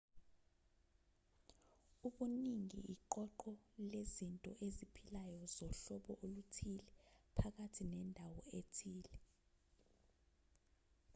ubuningi iqoqo lezinto eziphilayo zohlobo oluthile phakathi nendawo ethile